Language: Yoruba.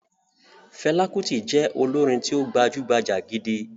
Fẹlá Kutì jẹ́ olórin tí ó gbajúgbajà gidi.